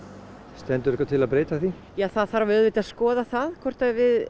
stendur eitthvað til að breyta því ja það þarf auðvitað að skoða það hvort